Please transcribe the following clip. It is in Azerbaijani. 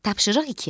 Tapşırıq iki.